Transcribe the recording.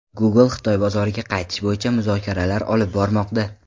Google Xitoy bozoriga qaytish bo‘yicha muzokaralar olib bormoqda.